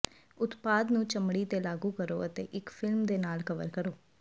ਉਤਪਾਦ ਨੂੰ ਚਮੜੀ ਤੇ ਲਾਗੂ ਕਰੋ ਅਤੇ ਇੱਕ ਫਿਲਮ ਦੇ ਨਾਲ ਕਵਰ ਕਰੋ